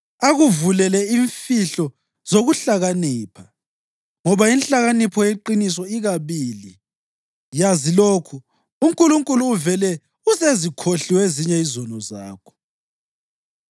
akuvulele imfihlo zokuhlakanipha, ngoba inhlakanipho yeqiniso ikabili. Yazi lokhu: UNkulunkulu uvele usezikhohliwe ezinye izono zakho.